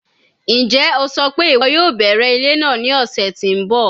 Njẹ o sọ pe iwọ yoo bẹrẹ ile naa ni ọsẹ ti n bọ?